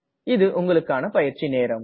இது உங்கள் பயிற்சிக்கான நேரம்